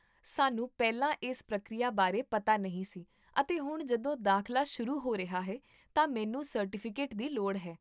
ਸਾਨੂੰ ਪਹਿਲਾਂ ਇਸ ਪ੍ਰਕਿਰਿਆ ਬਾਰੇ ਪਤਾ ਨਹੀਂ ਸੀ ਅਤੇ ਹੁਣ ਜਦੋਂ ਦਾਖਲਾ ਸ਼ੁਰੂ ਹੋ ਰਿਹਾ ਹੈ ਤਾਂ ਮੈਨੂੰ ਸਰਟੀਫਿਕੇਟ ਦੀ ਲੋੜ ਹੈ